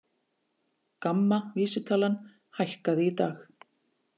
GAMMA vísitalan hækkaði í dag